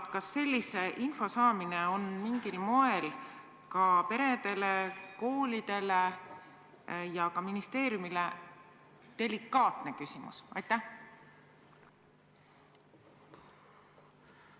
Kas sellise info saamine on mingil moel ka delikaatne küsimus, mida ministeeriumil on peredele ja koolidele ebamugav esitada?